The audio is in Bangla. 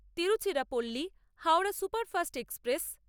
Tiruchirappalli-Howrah superfast express